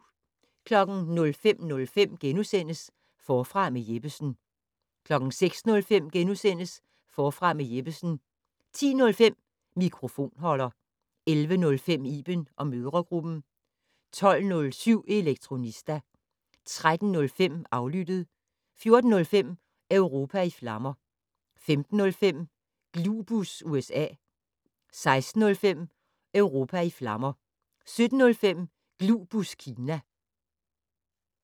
05:05: Forfra med Jeppesen * 06:05: Forfra med Jeppesen * 10:05: Mikrofonholder 11:05: Iben & mødregruppen 12:07: Elektronista 13:05: Aflyttet 14:05: Europa i flammer 15:05: Glubus USA 16:05: Europa i flammer 17:05: Glubus Kina